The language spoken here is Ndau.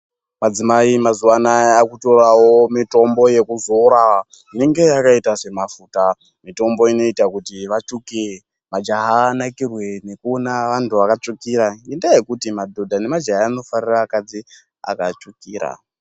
Madzimai mazuva anaya akutoravo mitombo yekuzora inenge yakaita semafuta. Mitombo inoita kuti vatsvuke majaha aone vantu vakatsvukira nendaa yekuti madhodha nemajaha anofarira akadzi akatsvukira.